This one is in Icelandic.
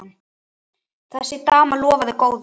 Þessi dama lofaði góðu.